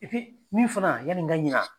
min fana yani n ka ɲa